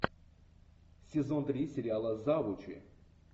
сезон три сериала завучи